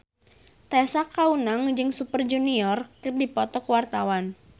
Tessa Kaunang jeung Super Junior keur dipoto ku wartawan